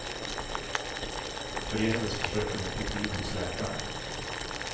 Förgäves försöker hon få tid hos läkaren.